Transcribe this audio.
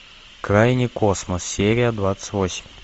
крайний космос серия двадцать восемь